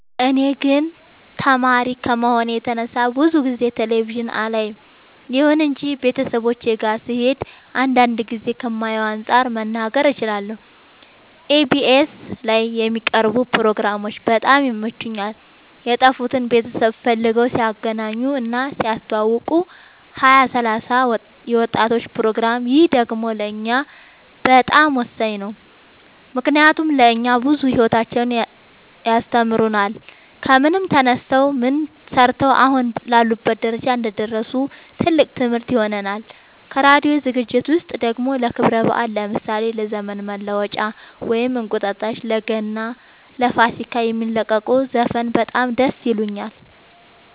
እኔ ግን ተማሪ ከመሆኔ የተነሳ ብዙ ጊዜ ቴሌቪዥን አላይም ይሁን እንጂ ቤተሰቦቼ ጋ ስሄድ አንዳንድ ጊዜ ከማየው አንፃር መናገር እችላለሁ ኢቢኤስ ላይ የሚቀርቡ ፕሮግራሞች በጣም ይመቹኛል የጠፉትን ቤተሰብ ፈልገው ሲያገናኙ እና ሲያስተዋውቁ ሀያ ሰላሳ የወጣቶች ፕሮግራም ይህ ደግሞ ለእኛ በጣም ወሳኝ ነው ምክንያቱም ለእኛ ብዙ ሂወታቸውን ያስተምሩናል ከምን ተነስተው ምን ሰርተው አሁን ላሉበት ደረጃ እንደደረሱ ትልቅ ትምህርት ይሆነናል ከራዲዮ ዝግጅት ውስጥ ደግሞ ለክብረ በአል ለምሳሌ ለዘመን መለወጫ ወይም እንቁጣጣሽ ለገና ለፋሲካ የሚለቁት ዘፈን በጣም ደስ ይለኛል